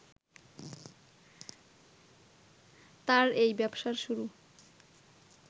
তাঁর এই ব্যবসার শুরু